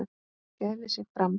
gæfi sig fram.